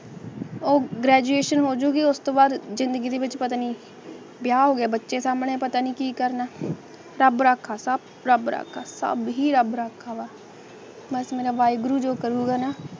ਉਹ ਗ੍ਰੇਜੁਏਸ਼ਨ ਹੋਜੁਗੀ ਉਸ ਤੋਂ ਬਾਅਦ ਜ਼ਿੰਦਗੀ ਵਿੱਚ ਪਤਨੀ ਵਿਆਹ ਹੋਵੇ ਬੱਚੇ ਸਾਹਮਣੇ ਪਤਾ ਨਹੀਂ ਕੀ ਕਰਨਾ ਸੀ ਤਾਂ ਬੜਾ ਖਰਾਬ ਆ ਤਾਂਹੀ ਰੱਬ ਰਾਖਾ ਪਸਾਰਾ ਵਾਹਿਗੁਰੂ ਦੇ ਕਰੂਰੰ